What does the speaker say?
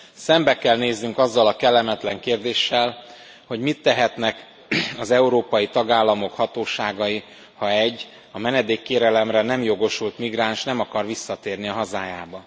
Szembe kell néznünk azzal a kellemetlen kérdéssel, hogy mit tehetnek az európai tagállamok hatóságai, ha egy menedékkérelemre nem jogosult migráns nem akar visszatérni a hazájába.